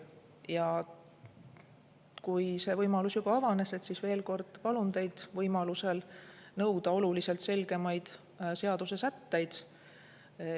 Ja kui see võimalus juba avanes, siis veel kord: palun teid võimalusel nõuda oluliselt selgemaid seadusesätteid.